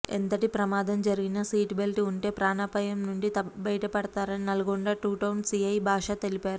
ఎంతటి ప్రమాదం జరిగినా సీటు బెల్ట్ ఉంటే ప్రాణాపాయం నుంచి బయటపడతారని నల్లగొండ టూటౌన్ సీఐ భాష తెలిపారు